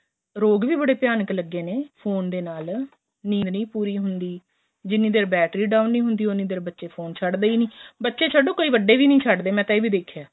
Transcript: ਰੋਗ ਵੀ ਬੜੇ ਭਿਆਨਕ ਲੱਗੇ ਨੇ ਫੋਨ ਦੇ ਨਾਲ ਨੀਂਦ ਨਹੀਂ ਪੂਰੀ ਹੁੰਦੀ ਜਿੰਨੀ ਦੇਰ battery down ਨਹੀਂ ਹੁੰਦੀ ਉੰਨੀ ਦੇਰ ਬੱਚੇ ਫੋਨ ਨਹੀਂ ਛੱਡਦੇ ਬੱਚੇ ਛੱਡੋ ਕਈ ਵੱਡੇ ਵੀ ਨਹੀਂ ਛੱਡਦੇ